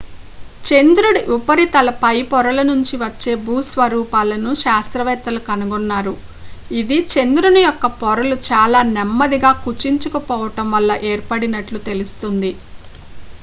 చంద్రుడి ఉపరితల పై పొరల నుంచి వచ్చే భూస్వరూపాలను శాస్త్రవేత్తలు కనుగొన్నారు ఇది చంద్రుని యొక్క పొరలు చాలా నెమ్మదిగా కుచించుకుపోవడం వల్ల ఏర్పడినట్లు తెలుస్తోంది